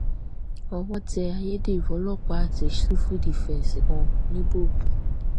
owó tẹ ayédèrú ọlọpàá àti sífù dìfẹǹsì kan ńíbògùn